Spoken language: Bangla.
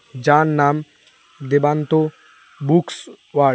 যার নাম দেবান্ত বুকস ওয়াড ।